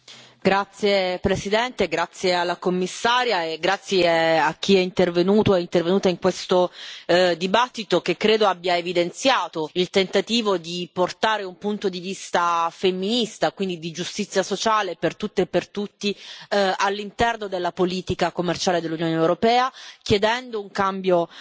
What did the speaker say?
Signora Presidente, onorevoli colleghi, ringrazio la Commissaria e ringrazio chi è intervenuto o è intervenuta in questo dibattito, che credo abbia evidenziato il tentativo di portare un punto di vista femminista, quindi di giustizia sociale, per tutte e per tutti, all'interno della politica commerciale dell'Unione europea, chiedendo un cambio